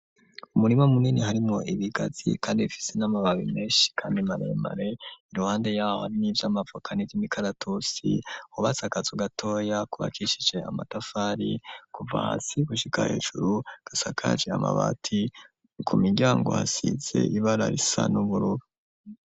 Umurima munini harimwo ibigazi kandi ifisi n'amababi menshi kandi maremare, iruhande ibiti vy'amavoka n'imikaratusi hubatse akazu gatoya kubakishije amatafari kuva hasi gushika hejuru gasakaje amabati ku miryango hasize ibara risa n'ubururu.